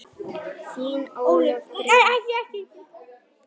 Þín Ólöf Birna.